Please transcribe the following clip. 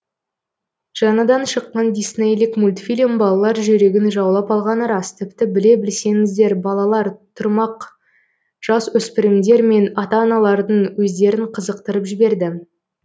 жаңадан шыққан диснейлік мультфильм балалар жүрегін жаулап алғаны рас тіпті біле білсеңіздер балалар тұрмақ жасөспірімдер мен ата аналардың өздерін қызықтырып жіберді